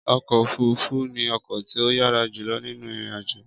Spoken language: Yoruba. Ọkọ òfurufú ni ọkọ tí o yàrá julọ ninu ìrìn àjò